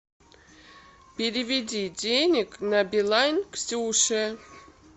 переведи денег на билайн ксюше